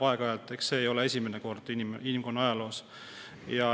Ega see ei ole esimene kord inimkonna ajaloos.